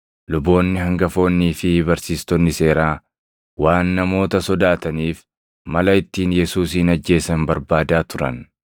luboonni hangafoonnii fi barsiistonni seeraa waan namoota sodaataniif, mala ittiin Yesuusin ajjeesan barbaadaa turan.